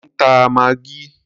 Mò ń ta maggi.